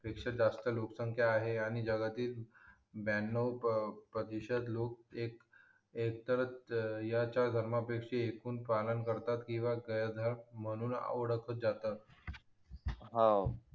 पेक्षा जास्त लोक संख्या आहे आणि जगातील ब्यानव प्रतिशत लोक एक एकतर याची धर्मपैकी पालन करतात किंवा गेरधर्म म्हणून ओळखले जातात हा